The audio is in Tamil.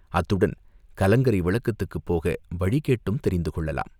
அத்துடன் கலங்கரை விளக்கத்துக்குப் போக வழி கேட்டும் தெரிந்து கொள்ளலாம்.